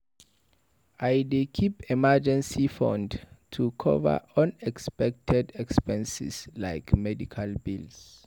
I dey keep emergency fund to cover unexpected expenses like medical bills.